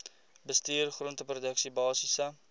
bestuur groenteproduksie basiese